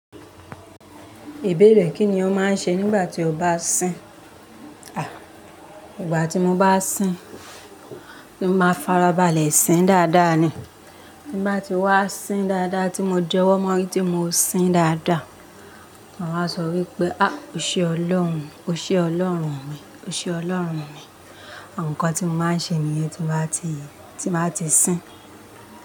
Ìbéèrè kí ni ó máa ń ṣe nígbà tí o bá sín? Ìgbà tí mo bá sín, mo máa farabalẹ̀ sín dáadáa ni. Ti n batí wá sín dáadáa tí mo di owo mo orí ti mọ́ sín dáadáa, màá wa sọ wípé, "à, ó ṣe Ọlọ́run, ó ṣe Ọlọ́run mi, ó ṣe Ọlọ́run mi." nkan tí mo máa ń ṣe nìyẹn tí màá ti, tí màá ti sín.